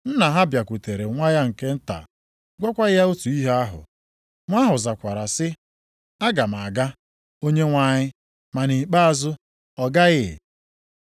“Nna ha bịakwutere nwa ya nke nta gwakwa ya otu ihe ahụ. Nwa ahụ zakwara sị, ‘Aga m aga, onyenwe anyị.’ Ma nʼikpeazụ ọ gaghị.